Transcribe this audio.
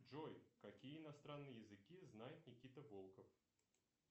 джой какие иностранные языки знает никита волков